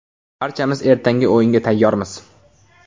Barchamiz ertangi o‘yinga tayyormiz.